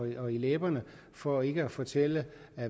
eller læberne for ikke at fortælle